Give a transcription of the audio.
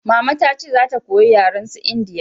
mama ta ce za ta koya yaren su indiya